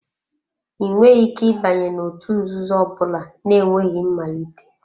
Ị nweghị ike ịbanye n'òtù nzuzo ọ bụla na-enweghị mmalite.